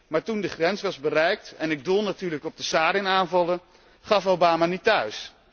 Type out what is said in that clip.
Maar toen die grens was bereikt en ik doel natuurlijk op de sarin aanvallen gaf Obama niet thuis.